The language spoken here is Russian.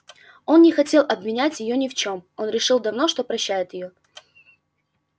он не хотел обвинять её ни в чём он решил давно что прощает её